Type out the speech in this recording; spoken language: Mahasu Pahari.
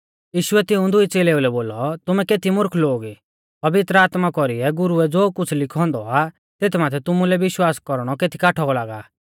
यीशुऐ तिऊं दुई च़ेलेऊ लै बोलौ तुमै केती मुर्ख लोग ई पवित्र आत्मा कौरीऐ गुरुऐ ज़ो कुछ़ लिखौ औन्दौ आ तेथ माथै तुमुलै विश्वास कौरणौ केती काठौ लागा